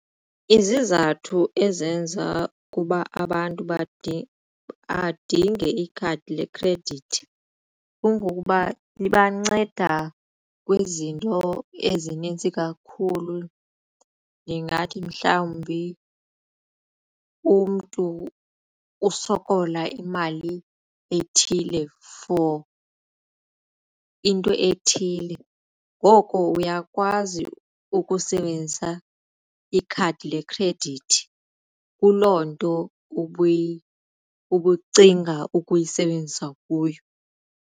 Izizathu ezenza ukuba abantu badinge ikhadi lekhredithi kungokuba libanceda kwizinto ezinintsi kakhulu ndingathi mhlawumbi umntu usokola imali ethile for into ethile ngoko uyakwazi ukusebenzisa ikhadi lekhredithi kuloo nto ubucinga ukuyisebenzisa kuyo.